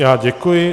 Já děkuji.